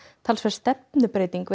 talsverð stefnubreyting